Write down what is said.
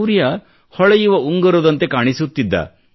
ಸೂರ್ಯ ಹೊಳೆಯುವ ಉಂಗುರದಂತೆ ಕಾಣಿಸುತ್ತಿದ್ದ